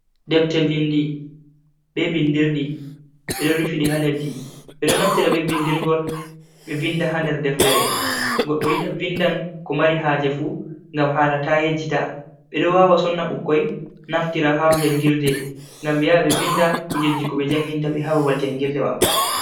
Defter vindi, be bindirdi ɓeɗon rufidi ha leɗɗi. ɓe ɗo naftira be bindirgol be vinɗa ha nder deftere. goɗɗo yiɗa vinɗan ko mari haje fu ngam hala ta yejjita. ɓe ɗo wawa sonna bukkoi naftira ha jangirɗe ngam be yaa ɓe vinɗa kujeji ko be janginta be ha babal jangirɗe maɓɓe.